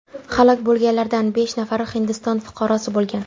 Halok bo‘lganlardan besh nafari Hindiston fuqarosi bo‘lgan.